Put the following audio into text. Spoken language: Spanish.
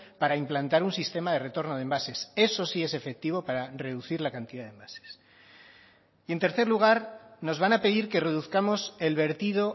para implantar un sistema de retorno de envases eso sí es efectivo para reducir la cantidad de envases y en tercer lugar nos van a pedir que reduzcamos el vertido